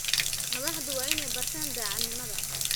Madaxdu waa inay bartaan daacadnimada.